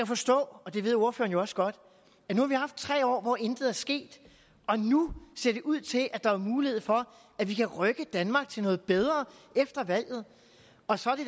forstå og det ved ordføreren også godt at nu har vi haft tre år hvor intet er sket og nu ser det ud til at der er mulighed for at vi kan rykke danmark til noget bedre efter valget og så er det